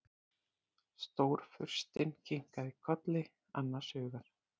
Stórfurstinn kinkar kolli annars hugar.